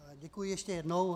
Děkuji ještě jednou.